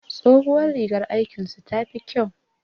Tsohuwar rigar aikin su ta fi kyau